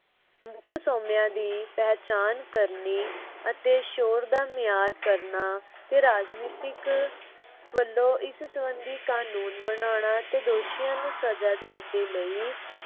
ਮੁੱਖ ਸੋਮਿਆਂ ਦੀ ਪਹਿਚਾਣ ਕਰਨੀ ਅਤੇ ਸ਼ੋਰ ਦਾ ਮਿਆਰ ਕਰਨਾ ਤੇ ਰਾਜਨੀਤਿਕ ਵਲੋਂ ਇਸ ਸੰਬੰਧੀ ਕਾਨੂੰਨ ਬਣਾਉਂਦਾ ਤੇ ਦੋਸ਼ੀਆਂ ਨੂੰ ਸਜਾ ਦੇਣ ਦੇ ਲਈ